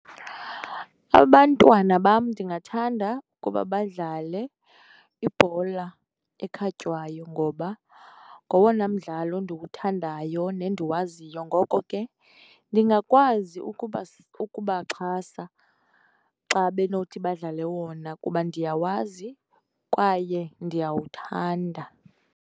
Abantwana bam ndingathanda ukuba badlale ibhola ekhatywayo ngoba ngowona mdlalo ndiwuthandayo nendiwaziyo, ngoko ke ndingakwazi ukubaxhasa xa benothi badlale wona kuba ndiyawazi kwaye ndiyawuthanda.